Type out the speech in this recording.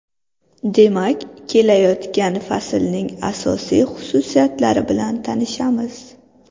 Demak kelayotgan faslning asosiy xususiyatlari bilan tanishamiz.